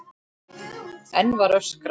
Enn var öskrað.